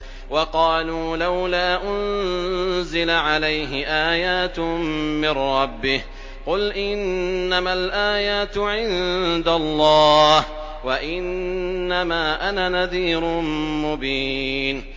وَقَالُوا لَوْلَا أُنزِلَ عَلَيْهِ آيَاتٌ مِّن رَّبِّهِ ۖ قُلْ إِنَّمَا الْآيَاتُ عِندَ اللَّهِ وَإِنَّمَا أَنَا نَذِيرٌ مُّبِينٌ